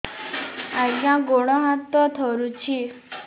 ଆଜ୍ଞା ଗୋଡ଼ ହାତ ଥରୁଛି